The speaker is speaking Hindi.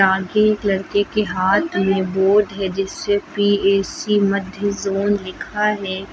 आगे एक लड़के के हाथ में बोर्ड है जिस्से पी_ए_सी मध्य जोन लिखा है।